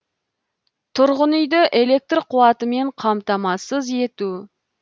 тұрғын үйді электр қуатымен қамтамасыз ету